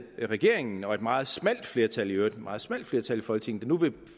at regeringen og et meget smalt flertal i øvrigt et meget smalt flertal i folketinget vil